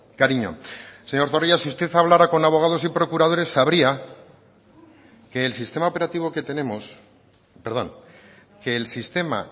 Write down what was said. cariño señor zorrilla si usted hablara con abogados y procuradores sabría que el sistema operativo que tenemos perdón que el sistema